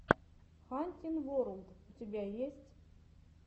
хантин ворлд у тебя есть